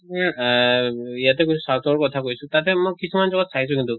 তুমি এহ ইয়াতে কৈছো south ৰ কথা কৈছো তাতে মোক কিছুমান জগাত চাইছো কিন্তু